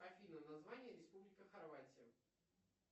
афина название республика хорватия